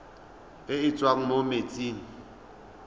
e e tswang mo metsing